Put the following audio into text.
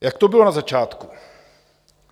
Jak to bylo na začátku?